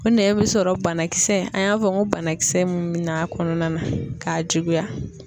O nɛn bi sɔrɔ banakisɛ an y'a fɔ n ko banakisɛ mun mina a kɔnɔna na k'a juguya